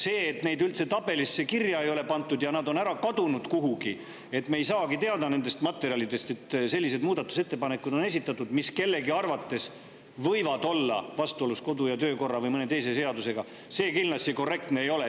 See, et neid üldse tabelisse kirja ei ole pandud, on kuhugi ära kadunud ja me ei saagi teada nendest materjalidest, et sellised muudatusettepanekud on esitatud, mis kellegi arvates võivad olla vastuolus kodu- ja töökorra või mõne teise seadusega, kindlasti korrektne ei ole.